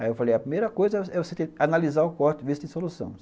Aí eu falei, a primeira coisa é você analisar o corte e ver se tem solução.